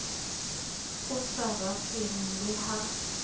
o sa rateng le ha